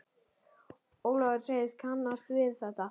Ólafur segist kannast við þetta.